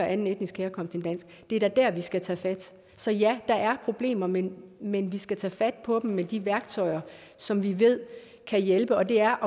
anden etnisk herkomst end dansk det er da der vi skal tage fat så ja der er problemer men men vi skal tage fat på dem med de værktøjer som vi ved kan hjælpe og det er